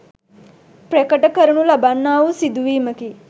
ප්‍රකට කරනු ලබන්නා වූ සිදුවීමකි.